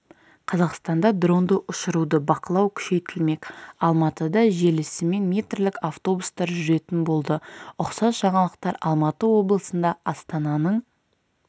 қазақстанда дронды ұшыруды бақылау күшейтілмек алматыда желісімен метрлік автобустар жүретін болды ұқсас жаңалықтар алматы облысында астананың